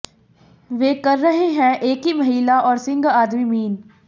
वे कर रहे हैं एक ही महिला और सिंह आदमी मीन